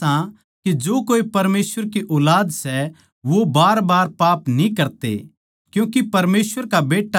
हम जाणा सां के हम परमेसवर तै सां अर सारी दुनिया उस शैतान कै वश म्ह पड़ी सै